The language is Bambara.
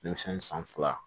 Denmisɛnni san fila